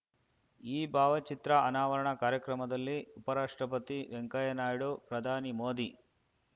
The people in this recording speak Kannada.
ಈ ಭಾವಚಿತ್ರ ಅನಾವರಣ ಕಾರ್ಯಕ್ರಮದಲ್ಲಿ ಉಪರಾಷ್ಟ್ರಪತಿ ವೆಂಕಯ್ಯ ನಾಯ್ಡು ಪ್ರಧಾನಿ ಮೋದಿ